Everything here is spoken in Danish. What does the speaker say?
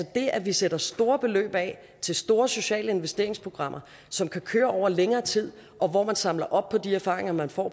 det at vi sætter store beløb af til store sociale investeringsprogrammer som kan køre over længere tid og hvor man samler op på de erfaringer man får